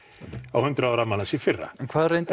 á hundrað ára afmæli hans í fyrra hvað reyndir